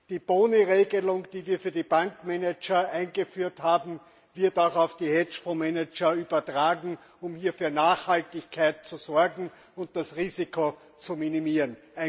Die Boni Regelung, die wir für die Bankmanager eingeführt haben, wird auch auf die Hedgefondsmanager übertragen, um hier für Nachhaltigkeit zu sorgen und das Risiko zu minimieren.